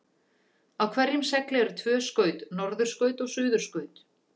Á hverjum segli eru tvö skaut, norðurskaut og suðurskaut.